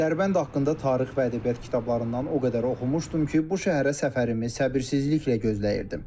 Dərbənd haqqında tarix və ədəbiyyat kitablarından o qədər oxumuşdum ki, bu şəhərə səfərimi səbirsizliklə gözləyirdim.